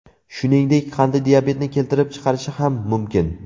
Shuningdek, qandli diabetni keltirib chiqarishi ham mumkin.